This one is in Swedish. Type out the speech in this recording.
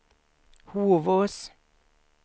Hovås